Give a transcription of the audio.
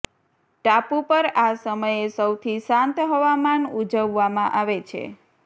ટાપુ પર આ સમયે સૌથી શાંત હવામાન ઉજવવામાં આવે છે